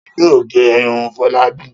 Ta ni yóò gé irun Fọlábí?